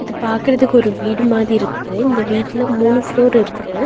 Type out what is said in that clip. இது பாக்குறதுக்கு ஒரு வீடு மாரி இருக்கு இந்த வீட்ல மூணு ப்ளோர் இருக்கு.